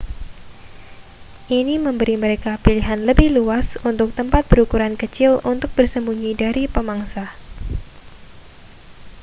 ini memberi mereka pilihan lebih luas untuk tempat berukuran kecil untuk bersembunyi dari pemangsa